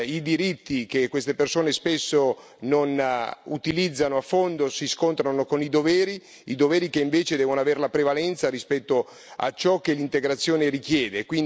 I diritti che queste persone spesso non utilizzano a fondo si scontrano con i doveri, i doveri che invece devono avere la prevalenza rispetto a ciò che l'integrazione richiede.